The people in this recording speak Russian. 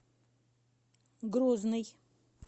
грозный